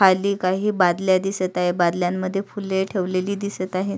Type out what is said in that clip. खाली काही बादल्या दिसत आहे बादल्यांमध्ये काही फुले ठेवलेली दिसत आहे.